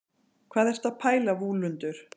hvað ertu að pæla vúlundur